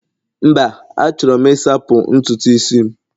mba, Achọrọ m Ị sachapụ ntutu isi'm